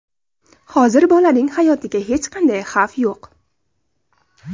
Hozir bolaning hayotiga hech qanday xavf yo‘q.